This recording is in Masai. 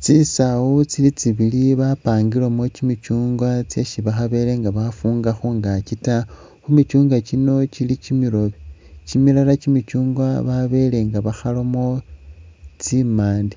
Tsisawu tsili tsibili bapangilemo kyimichungwa tsesi bakhabele nga bakhafunga khungaakyi taa khumichungwa kyino kyili kyimirobe, kyimilala kyimichungwa babele nga bakhalamo tsimande,